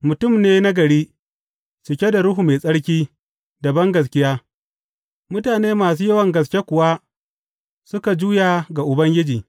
Mutum ne nagari, cike da Ruhu Mai Tsarki da bangaskiya, mutane masu yawan gaske kuwa suka juya ga Ubangiji.